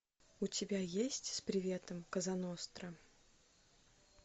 у тебя есть с приветом козаностра